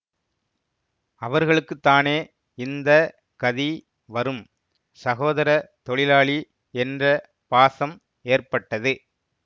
அவர்களுக்குத்தானே இந்த கதி வரும் சகோதரத் தொழிலாளி என்ற பாசம் ஏற்பட்டது